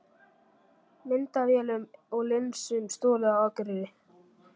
Myndavélum og linsum stolið á Akureyri